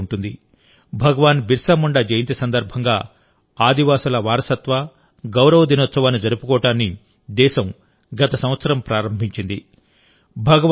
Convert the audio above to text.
మీకు గుర్తుండే ఉంటుందిభగవాన్ బిర్సా ముండా జయంతి సందర్భంగా ఆదివాసివారసత్వ గౌరవ దినోత్సవాన్ని జరుపుకోవడాన్ని దేశం గత సంవత్సరం ప్రారంభించింది